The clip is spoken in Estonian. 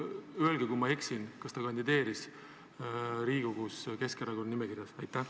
Öelge, kui ma eksin, kas ta kandideeris Riigikogus Keskerakonna nimekirjas?